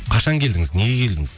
қашан келдіңіз неге келдіңіз